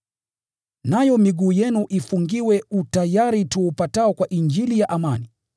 nayo miguu yenu ifungiwe utayari tuupatao kwa Injili ya amani.